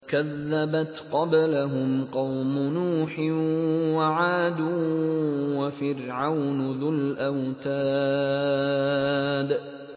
كَذَّبَتْ قَبْلَهُمْ قَوْمُ نُوحٍ وَعَادٌ وَفِرْعَوْنُ ذُو الْأَوْتَادِ